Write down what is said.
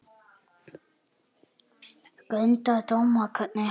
Grundar dóma, hvergi hann